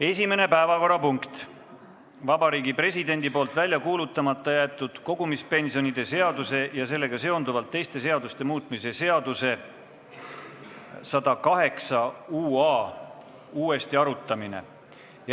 Esimene päevakorrapunkt on Vabariigi Presidendi välja kuulutamata jäetud kogumispensionide seaduse ja sellega seonduvalt teiste seaduste muutmise seaduse uuesti arutamine .